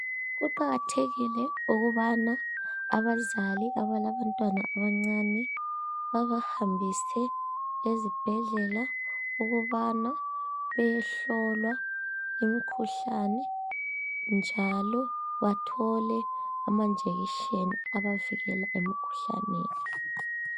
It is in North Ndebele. Kuqakathekile ukubana abazali abalabantwana abancane babahambise ezibhedlela ukubana bayehlolwa imikhuhlane njalo bathole amajekiseni abavikela emikhuhlaneni.